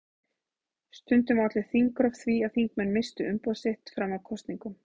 Stundum olli þingrof því að þingmenn misstu umboð sitt fram að kosningum.